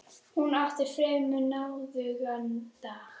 Hún átti fremur náðugan dag.